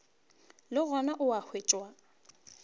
le gona o a hwetšwa